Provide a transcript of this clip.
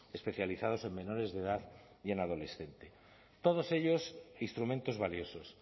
especializados en menores de edad y en adolescentes todos ellos instrumentos valiosos